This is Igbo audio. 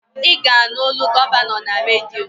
Ị ga-anụ olu gọvanọ na redio